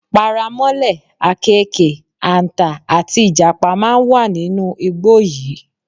Paramọ́lẹ̀, àkééke, àǹtà, àti Ìjàpá máa wà nínú igbó yìí.